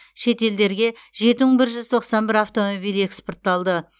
шетелдерге жеті мың бір жүз тоқсан бір автомобиль экспортталды